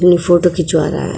जो ये फोटो खिंचवा रहा है।